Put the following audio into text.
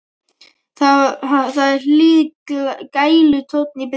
Það er hlýr gælutónn í bréfunum.